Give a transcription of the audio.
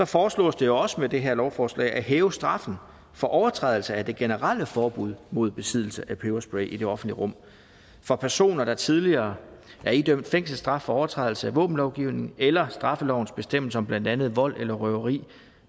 foreslås det også med det her lovforslag at hæve straffen for overtrædelse af det generelle forbud mod besiddelse af peberspray i det offentlige rum for personer der tidligere er idømt fængselsstraf for overtrædelse af våbenlovgivningen eller straffelovens bestemmelser om blandt andet vold eller røveri